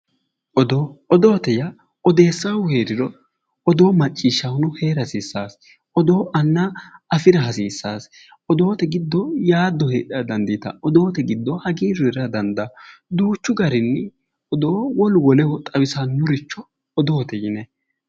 Odoo, odoote yaa odeessahu heeriro odoo macciishshahuno heera hasiisano, odoo anna afira hasiisase ,odoote giddo yaado heedhara dandiittanno ,odoote giddo hagiiru heerara dandaanno ,duuchu garinni odoo wolu woleho xawisanoricho odoote yinnanni